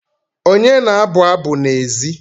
Onye na-abụ abụ n'èzí?